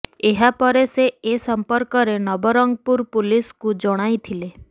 ଏହା ପରେ ସେ ଏ ସମ୍ପର୍କରେ ନବରଙ୍ଗପୁର ପୁଲିସକୁ ଜଣାଇଥିଲେ